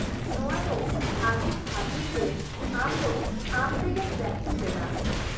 ᱼᱱᱚᱶᱟ ᱫᱚ ᱟᱹᱰᱤ ᱵᱷᱟᱹᱜᱤ ᱡᱮ ᱟᱢ ᱫᱚ ᱟᱢᱛᱮᱜᱮᱢ ᱯᱨᱮᱠᱴᱤᱥ ᱮᱫᱟ ᱾